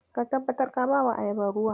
Ka tabbatar ka bawa ayabar ruwa.